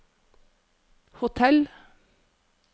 hotell